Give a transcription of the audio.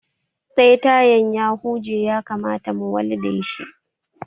Ɗaya tayan ya huje ya kamata mu walde shi